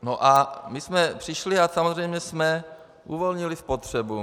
No a my jsme přišli a samozřejmě jsme uvolnili spotřebu.